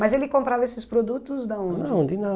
Mas ele comprava esses produtos de onde? Ah, onde